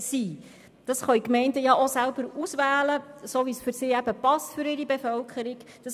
Die Gemeinden können dies selber auswählen, so wie es für ihre Bevölkerung passt.